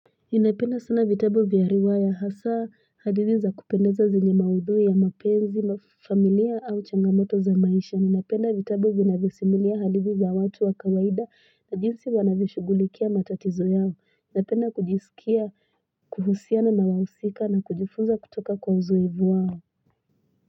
Ninapenda sana vitabu vya riwaya hasa hadithi za kupendeza zenye maudui ya mapenzi mafamilia au changamoto za maisha ninapenda vitabu vinavyosimulia hadithi za watu wa kawaida na jinsi wanavishugulikia matatizo yao inapenda kujisikia kuhusiana na wawusika na kujifunza kutoka kwa uzoevu wao.